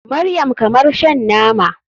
Maryam kamar shan nama.